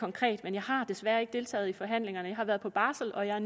konkret men jeg har desværre ikke deltaget i forhandlingerne jeg har været på barsel og jeg